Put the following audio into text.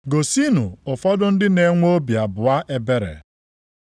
Gosinụ ụfọdụ ndị na-enwe obi abụọ ebere.